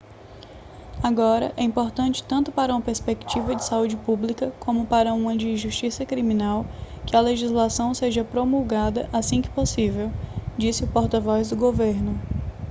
agora é importante tanto para uma perspectiva de saúde pública como para uma de justiça criminal que a legislação seja promulgada assim que possível disse o porta-voz do governo